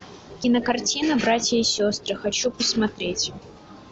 кинокартина братья и сестры хочу посмотреть